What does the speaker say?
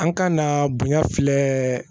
An ka na bonya filɛ